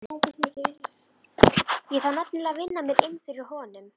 Ég þarf nefnilega að vinna mér inn fyrir honum.